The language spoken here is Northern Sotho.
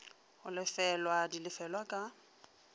go lefelwa di lefelwa ka